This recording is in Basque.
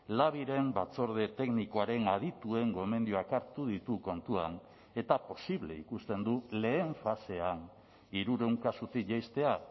labiren batzorde teknikoaren adituen gomendioak hartu ditu kontuan eta posible ikusten du lehen fasean hirurehun kasutik jaistea